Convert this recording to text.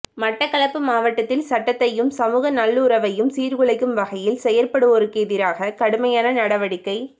மட்டக்களப்பு மாவட்டத்தில் சட்டத்தையும் சமூக நல்லுறவையும் சீர்குலைக்கும் வகையில் செயற்படுவோருக்கெதிராக கடுமையான நடவடிக்கை